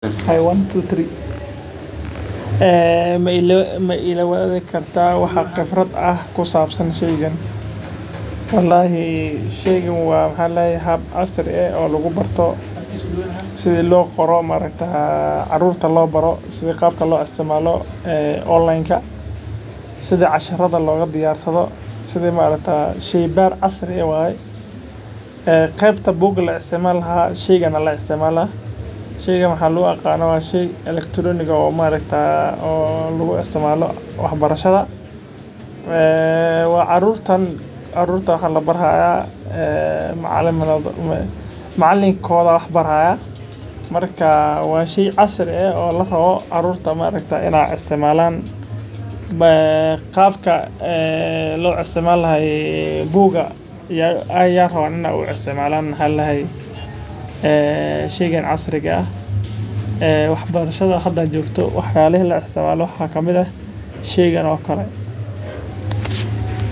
Maila wadaagi kartaa waxa khibrad leh oo kusabsan halkan waxa halkan iiga muuqda sida caruurta ugesto ama aniga xitaa hada ayaan qadka usheeg lacagta qaldan yihiin isticmaal saxama waxaa labari haaya macalinkooda ayaa wax bari haaya waa sheey casr ah sida qaabka buuga camal ayaa larabaa in loo isticmaala.